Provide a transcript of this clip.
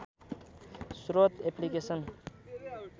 स्रोत एप्लिकेसन